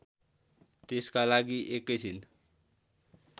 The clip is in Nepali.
त्यसका लागि एकैछिन